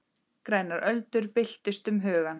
Grænar öldur byltust um hugann.